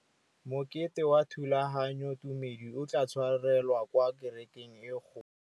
Mokete wa thulaganyôtumêdi o tla tshwarelwa kwa kerekeng e kgolo.